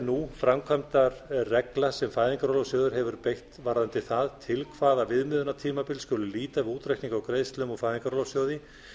nú framkvæmdar regla sem fæðingarorlofssjóður hefur beitt varðandi það til hvaða viðmiðunartímabils skuli líta við útreikning á greiðslum úr fæðingarorlofssjóði